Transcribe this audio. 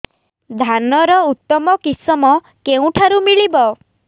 ଧାନର ଉତ୍ତମ କିଶମ କେଉଁଠାରୁ ମିଳିବ